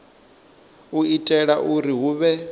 u itela uri hu vhe